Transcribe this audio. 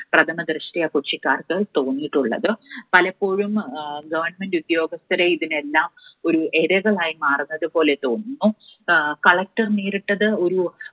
പ്രഥമദൃഷ്ട്യാ കൊച്ചിക്കാർക്ക് തോന്നിയിട്ടുള്ളത്. പലപ്പോഴും Government ഉദ്യോഗസ്ഥരെ ഇതിനെല്ലാം ഒരു ഇരകളായി മാറുന്നത് പോലെ തോന്നുന്നു. ആഹ് Collector നേരിട്ടത് ഒരു